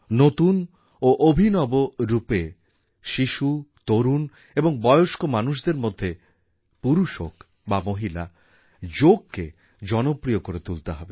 নতুন ও অভিনব রূপে শিশু তরুণ এবং বয়স্ক মানুষদের মধ্যে পুরুষ হোক বা মহিলা যোগকে জনপ্রিয় করে তুলতে হবে